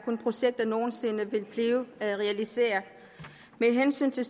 projekter nogen sinde vil blive realiseret med hensyn til